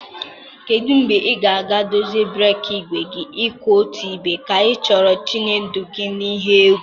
Kedu mgbe ị ga-aga dozie breeki igwe kwụ otu ebe, ka ị chọrọ itinye ndụ gị n'ihe egwu?